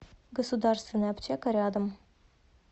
государственная аптека рядом